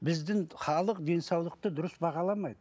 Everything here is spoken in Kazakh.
біздің халық денсаулықты дұрыс бағаламайды